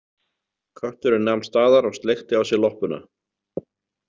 Kötturinn nam staðar og sleikti á sér loppuna.